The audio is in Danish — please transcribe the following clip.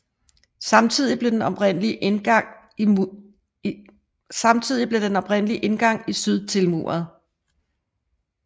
Samtidig blev den oprindelige indgang i syd tilmuret